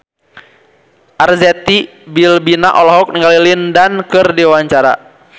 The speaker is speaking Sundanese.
Arzetti Bilbina olohok ningali Lin Dan keur diwawancara